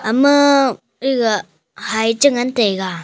ama egeg hai chengai taiga.